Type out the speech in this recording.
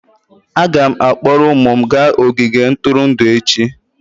Aga m akpọrọ ụmụ m gaa ogige ntụrụndụ echi.